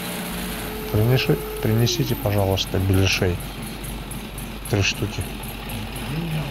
принесите пожалуйста беляшей три штуки